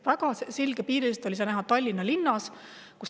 Väga selgepiiriliselt oli seda näha Tallinna linnas.